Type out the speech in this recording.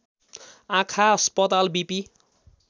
आँखा अस्पताल विपि